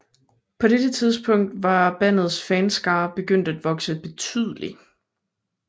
På dette tidspunkt var bandets fanskare begyndt at vokse betydeligt